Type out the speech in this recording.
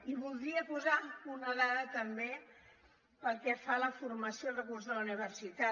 i voldria posar una dada també pel que fa a la formació i al recurs de la universitat